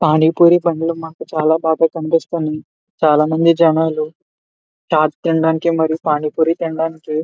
పానీ పూరి బండ్లు మాకు చాలా బాగా కనిపిస్తోంది. చాలామంది జనాలు చాట్ తినటానికి మరియు పని పూరి తినటానికి --